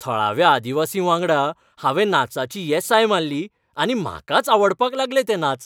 थळाव्या आदिवासींवांगडा हांवें नाचांची येसाय माल्ली आनी म्हाकाच आवडपाक लागले ते नाच.